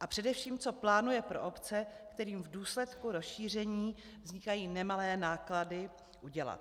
a především, co plánuje pro obce, kterým v důsledku rozšíření vznikají nemalé náklady, udělat.